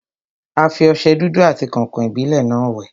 A fi ọsẹ dúdú àti kàǹkàn-ìbílẹ́ náà wẹ̀.